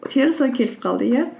теріс ой келіп қалды иә